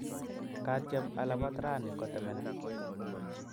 Katyem alapat rani kotemana.